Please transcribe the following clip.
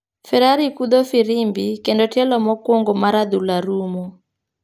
Ferari kudho firimbi ,kendo tielo mokuongo mar adhula rumo.